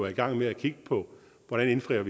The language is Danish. i gang med at kigge på hvordan vi indfrier